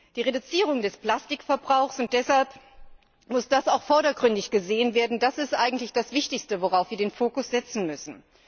Die Reduzierung des Plastikverbrauchs und deshalb muss das auch vordergründig gesehen werden ist eigentlich das wichtigste, worauf wir den Fokus setzen müssen.